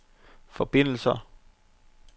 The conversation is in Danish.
forbindelser